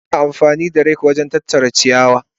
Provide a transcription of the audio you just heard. Ana amfani da rake wajen tattara ciyawa.